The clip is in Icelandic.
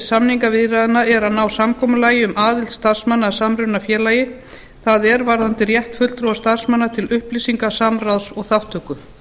samningaviðræðna er að ná samkomulagi um aðild starfsmanna að samrunafélagi það er varðandi rétt fulltrúa starfsmanna til upplýsinga samráðs og þátttöku